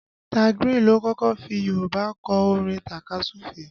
Da Grin ló kọ́kọ́ fi Yorùbá kọ orin takasufe